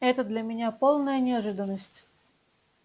это для меня полная неожиданность